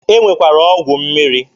E nwekwara ọgwụ mmiri.